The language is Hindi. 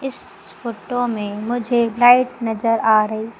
इस फोटो में मुझे लाइट नजर आ रही--